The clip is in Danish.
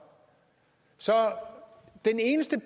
så den eneste